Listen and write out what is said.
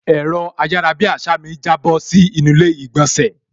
Ẹ̀rọ ayarabiasa mi jábọ́ sí inú ilé ìgbònsẹ̀